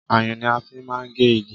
Ayùn ni a fi máa ń gé igi